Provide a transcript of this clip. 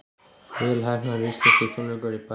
Vel heppnaðir íslenskir tónleikar í París